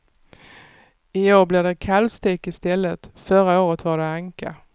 I år blir det kalvstek i stället, förra året var det anka.